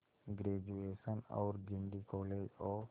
graduation और Guindy college of